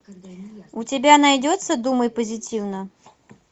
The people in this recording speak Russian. у тебя найдется думай позитивно